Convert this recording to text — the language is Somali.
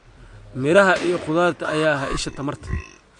miraha iyo khudaarta ayaa ah isha tamarta.